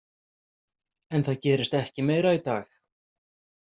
En það gerist ekki meira í dag.